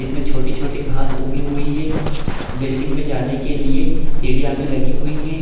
इसमें छोटी-छोटी घास उगी हुई हैं बिल्डिंग में जाने के लिए सीढ़ियाँ भी लगी हुई हैं।